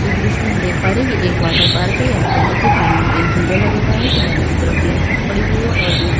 इस दृश्य में हम देख पा रहे है ये एक वाटर पार्क है यहाँ पर देखिए पानी में एक झूला लगा हुआ है किनारे की तरफ टीन सूड पड़ी हुई है और दूर--